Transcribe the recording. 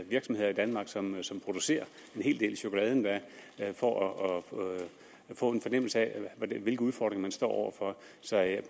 virksomheder i danmark som som producerer en hel del chokolade for at få en fornemmelse af hvilke udfordringer man står over for så jeg